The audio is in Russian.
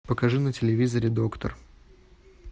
покажи на телевизоре доктор